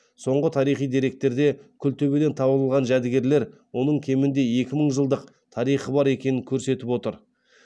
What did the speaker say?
соңғы тарихи деректерде күлтөбеден табылған жәдігерлер оның кемінде екі мың жылдық тарихы бар екенін көрсетіп отыр